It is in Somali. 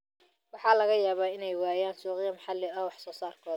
Waxa laga yaabaa inay waayaan suuqyo maxalli ah oo wax soo saarkooda ah.